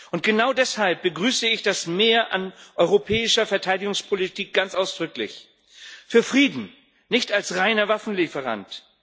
Und genau deshalb begrüße ich das Mehr an europäischer Verteidigungspolitik ganz ausdrücklich für Frieden, nicht als reiner Waffenlieferant.